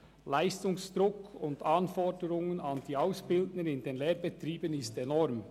Der Leistungsdruck und die Anforderungen an die Auszubildenden sind in den Lehrbetrieben enorm.